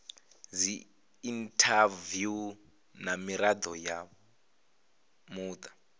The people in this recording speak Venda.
dziinthaviwu na mirado ya muta